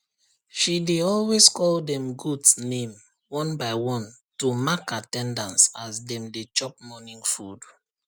she dey always call dem goat name one by one to mark at ten dance as dem dey chop morning food